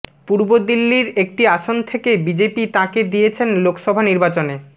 পূর্ব দিল্লির একটি আসন থেকে বিজেপি তাঁকে দিয়েছেন লোকসভা নির্বাচনে